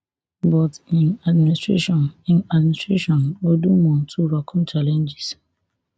but im administration im administration go do more to overcome challenges